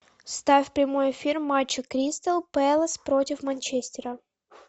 ставь прямой эфир матча кристал пэлас против манчестера